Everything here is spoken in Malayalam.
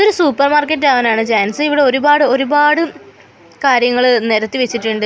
ഒരു സൂപ്പർ മാർക്കറ്റ് ആകാനാണ് ചാൻസ് ഇവിടെ ഒരുപാട്-ഒരുപാട് കാര്യങ്ങൾ നിരത്തി വെച്ചിട്ടുണ്ട്.